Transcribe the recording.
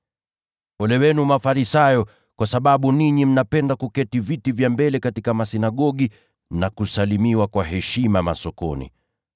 “Ole wenu Mafarisayo, kwa sababu ninyi mnapenda kukalia viti vya mbele katika masinagogi, na kusalimiwa kwa heshima masokoni.